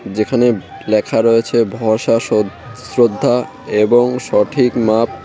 যেখানে লেখা রয়েছে ভসা শদ শ্রদ্ধা এবং সঠিক মাপ।